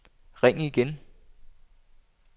ring igen